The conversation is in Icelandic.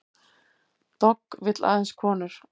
Dogg vill aðeins konur